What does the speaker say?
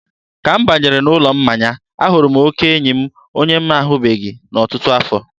ka m banyere n'ụlọ mmanya, a hụrụ oke enyi m onye m na-ahụbeghị n'ọtụtụ afọ.